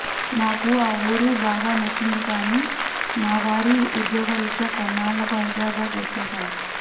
నాకా ఆ వూరు బాగా నచ్చింది కానీ మావారి ఉద్యోగరీత్యా కొన్నాళ్లకు హైదరాబాద్ వచ్చేశాం